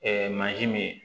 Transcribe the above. mansin min ye